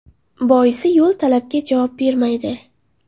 Boisi, yo‘l talabga javob bermaydi.